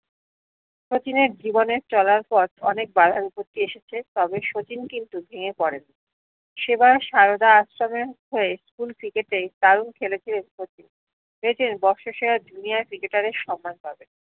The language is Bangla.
শচীনের জীবনে চলার পর অনেক বাঁধা বিপত্ত এসেছে তবে শচীন কিন্তু ভেঙ্গে পরেন সেবার সায়োদা আশ্রমে হয়ে school ক্রিকেটে দারুণ খেলেছে শচীন ভেবেছেন বৎস সেরা junior ক্রিকেটারের সম্মান পাবেন